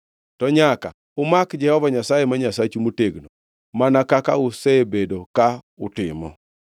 To nyaka umak Jehova Nyasaye ma Nyasachu motegno, mana kaka usebedo ka utimo.”